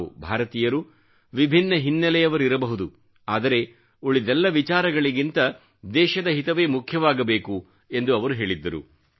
ನಾವು ಭಾರತೀಯರು ವಿಭಿನ್ನ ಹಿನ್ನೆಲೆಯವರಿರಬಹುದು ಆದರೆ ಉಳಿದೆಲ್ಲ ವಿಚಾರಗಳಿಗಿಂತ ದೇಶದ ಹಿತವೇ ಮುಖ್ಯವಾಗಬೇಕು ಎಂದು ಅವರು ಹೇಳಿದ್ದರು